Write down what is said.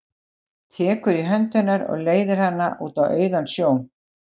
Tekur í hönd hennar og leiðir hana út á auðan sjó.